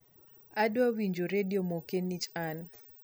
adwa winjo redio moke nich an